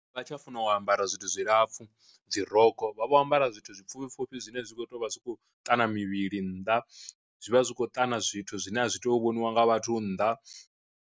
Vha tsha funa u ambara zwithu zwilapfhu dzi rokho vha vho ambara zwithu zwipfhufhi pfhufhi zwine zwa kho tea u vha zwi khou ṱana mivhili nnḓa, zwi vha zwi khou ṱana zwithu zwine a zwi to vhoniwa nga vhathu nnḓa.